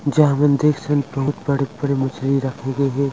जहाँ हमन देखथन बहुत बड़े बड़े मछली रखे गे हे।